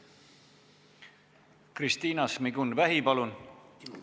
Kristina Šmigun-Vähi, palun!